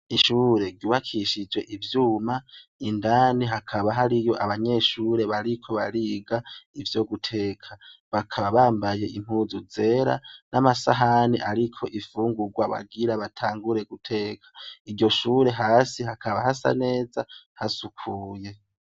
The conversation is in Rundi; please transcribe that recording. Ishure ryubakishijwe ivyuma indani hakaba hariyo abanyeshure bariko bariga ivyo guteka bakaba bambaye impuzu zera n'amasahani ariko imfungurwa bagira batangure guteka iryo shure hasi hakaba hasa neza hasukuye .